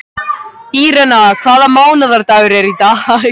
Írena, hvaða mánaðardagur er í dag?